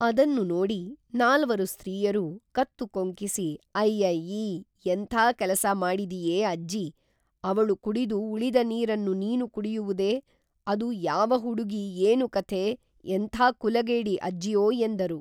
ಅದನ್ನು ನೋಡಿ ನಾಲ್ವರು ಸ್ತ್ರೀಯರೂ ಕತ್ತು ಕೊಂಕಿಸಿ ಅಯ್ಯ ಯ್ಯೀ ಎಂಥಾ ಕೇಲಸ ಮಾಡಿದೆಯೇ ಅಜ್ಜೀ ಅವಳು ಕುಡಿದು ಉಳಿದ ನೀರನ್ನು ನೀನು ಕುಡಿಯುವುದೇ ಅದು ಯಾವ ಹುಡುಗಿ ಏನು ಕಥೆ ಎಂಥಾ ಕುಲಗೇಡಿ ಅಜ್ಜಿಯೋ ಎಂದರು